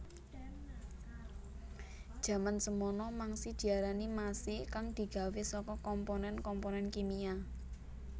Jaman semana mangsi diarani masi kang digawé saka komponen komponen kimia